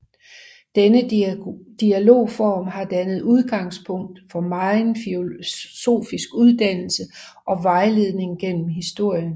Denne dialogform har dannet udgangspunkt for megen filosofisk uddannelse og vejledning gennem historien